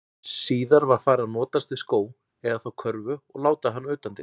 Síðar var farið að notast við skó, eða þá körfu og láta hana utandyra.